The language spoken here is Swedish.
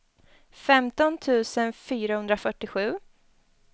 femton tusen fyrahundrafyrtiosju